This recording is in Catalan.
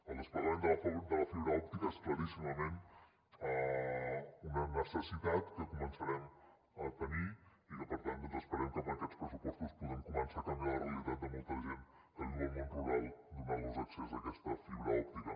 el desplegament de la fibra òptica és claríssimament una necessitat que començarem a tenir i que per tant doncs esperem que amb aquests pressupostos podrem començar a canviar la realitat de molta gent que viu al món rural donant los accés a aquesta fibra òptica